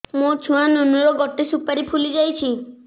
ମୋ ଛୁଆ ନୁନୁ ର ଗଟେ ସୁପାରୀ ଫୁଲି ଯାଇଛି